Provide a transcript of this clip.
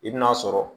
I bɛn'a sɔrɔ